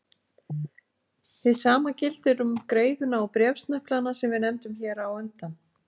Hið sama gildir um greiðuna og bréfsneplana sem við nefndum hér á undan.